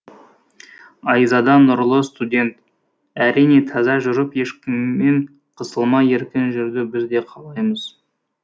айзада нұрлы студент әрине таза жүріп ешкіммен қысылмай еркін жүруді біз де қалаймыз